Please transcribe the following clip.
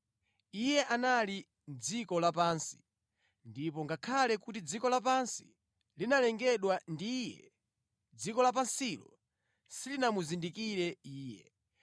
Iye anali mʼdziko lapansi, ndipo ngakhale kuti dziko lapansi linalengedwa ndi Iye, dziko lapansilo silinamuzindikire Iye.